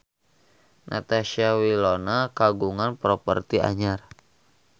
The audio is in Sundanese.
Natasha Wilona kagungan properti anyar